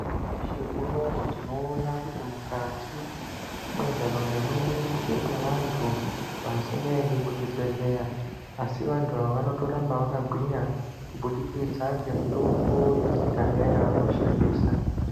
Nyamashi unou tinoona kuti mukati mwentaraunda mwedu muchiri nevantu vasingaendi kuzvibhedhleya. asi vantu ava vanotoramba vakagwinya kubudikidza ngemutombo yekudhaya yavanoshandisa.